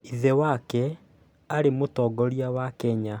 Ithe wake arĩ Mũtongoria wa Kenya